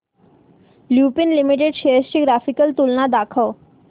Lupin limited shares ची graphical तुलना दाखव